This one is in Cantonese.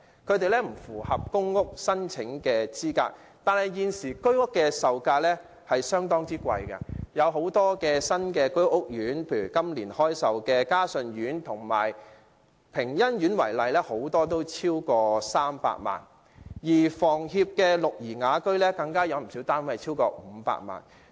他們不符合公屋申請資格，但現時居屋售價相當昂貴，很多新建的居屋屋苑，以今年開售的嘉順苑及屏欣苑為例，很多單位都超過300萬元；而香港房屋協會的綠怡雅苑更有不少單位超過500萬元。